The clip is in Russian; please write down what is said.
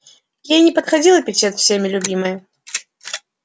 ей не подходил эпитет всеми любимая